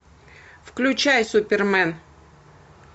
включай супермен